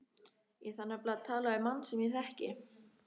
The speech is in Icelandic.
Ég þarf nefnilega að tala við mann sem ég þekki.